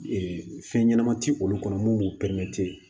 fɛn ɲɛnama ti olu kɔnɔ mun b'u pɛrɛn